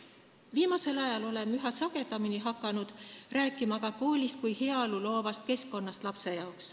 Viimasel ajal oleme üha sagedamini hakanud rääkima ka koolist kui lapsele heaolu loovast keskkonnast.